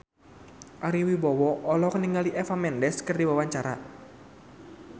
Ari Wibowo olohok ningali Eva Mendes keur diwawancara